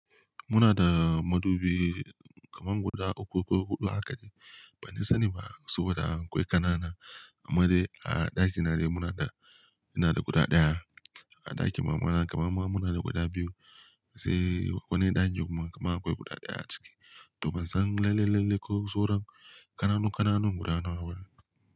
Muna da madubi kaman guda uku ko huɗu haka de. Ban dai sani ba saboda akwai ƙanana. Amma dai a ɗakina dai muna da, muna da guda ɗaya. A ɗakin mamana kaman ma muna da guda biyu. Sai wannan ɗakin kuma kaman akwai guda ɗaya a ciki. To ban san lalle-lalle ko sauran ƙananu-ƙananun guda nawa bane.